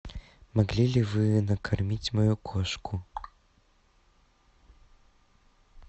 могли ли вы накормить мою кошку